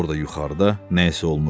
Orda yuxarıda nə isə olmuşdu.